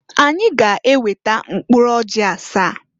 Anyị ga-eweta mkpụrụ ọjị asaa.